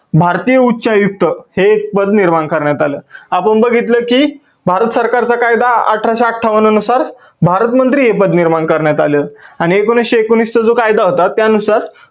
भारतीय उच्च आयुक्त हे एक पद निर्माण करण्यात आलं. आपण बघितल की भारत सरकार चा कायदा अठराशे अठ्ठावन नुसार भारत मंत्री हे पद निर्माण करण्यात आलं आणि एकोणविसशे एकोणवीस चा जो कायदा होता त्या नुसार